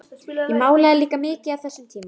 Ég málaði líka mikið á þessum tíma.